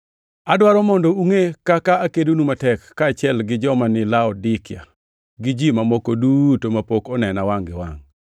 Adwaro mondo ungʼe kaka akedonu matek, kaachiel gi joma ni Laodikia gi ji mamoko duto mapok onena gi wangʼ-gi.